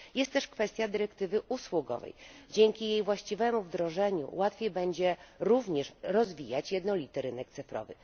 Kolejną kwestia jest kwestia dyrektywy usługowej dzięki jej właściwemu wdrożeniu łatwiej będzie również rozwijać jednolity rynek cyfrowy.